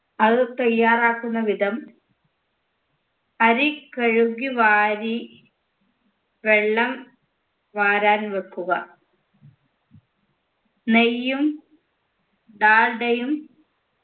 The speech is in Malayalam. അവ തയ്യാറാക്കുന്ന വിധം അരി കഴുകി വാരി വെള്ളം വാരാൻ വെക്കുക നെയ്യും ഡാൽഡയും